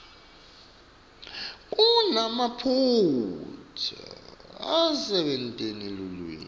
kunemaphutsa ekusebentiseni lulwimi